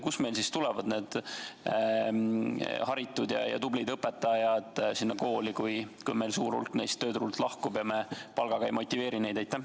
Kust meil siis tulevad need haritud ja tublid õpetajad kooli, kui suur hulk neist lahkub tööturult ja me palgaga ei motiveeri neid?